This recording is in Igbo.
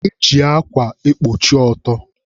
Eji akwa ekpuchi ọtọ